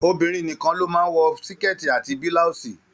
Obìnrin nìkàn ló máa n wọ síkẹ́tí àti bilausi.